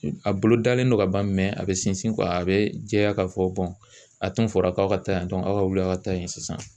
A bolo dalen don ka ban a bɛ sinsin a bɛ jɛya k'a fɔ a tun fɔra k'aw ka taa yan dɔn aw wulila ka taa yen sisan